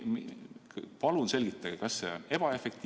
Palun selgitage!